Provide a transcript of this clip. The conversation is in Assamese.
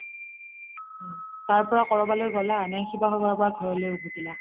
তাৰ পৰা কবালৈ গ্'লা নে শিৱসাগৰৰ পৰা ঘৰলৈ উভতিলা ?